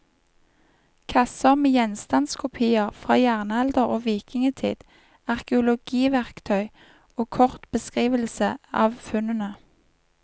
Kasser med gjenstandskopier fra jernalder og vikingtid, arkeologiverktøy og kort beskrivelse av funnene.